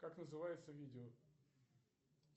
как называется видео